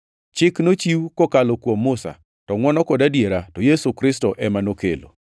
Chik nochiw kokalo kuom Musa, to ngʼwono kod adiera, to Yesu Kristo ema nokelo.